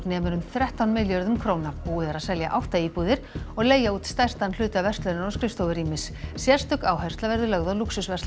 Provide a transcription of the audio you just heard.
nemur um þrettán milljörðum króna búið er að selja átta íbúðir og leigja út stærstan hluta verslunar og skrifstofurýmis sérstök áhersla verður lögð á